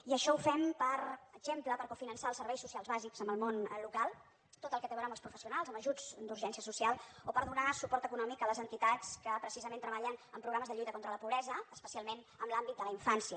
i això ho fem per exemple per cofinançar els serveis socials bàsics amb el món local tot el que té a veure amb els professionals amb ajuts d’urgència social o per donar suport econòmic a les entitats que precisament treballen en programes de lluita contra la pobresa especialment en l’àmbit de la infància